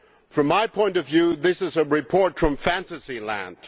From my point of view this is a report from fantasyland.